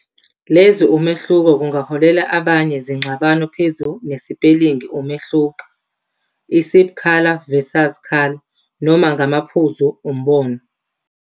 Lezi umehluko kungaholela abanye zingxabano phezu nesipelingi umehluko, isib color Versus color, noma ngamaphuzu umbono.